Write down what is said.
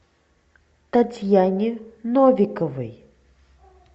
татьяне новиковой